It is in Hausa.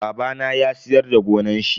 Babana ya siyar da gonan shi.